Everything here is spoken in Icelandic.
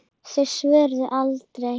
Þau svöruðu aldrei.